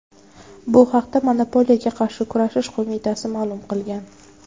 Bu haqda Monopoliyaga qarshi kurashish qo‘mitasi ma’lum qilgan .